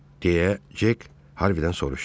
Deyə Cek Harvidən soruşdu.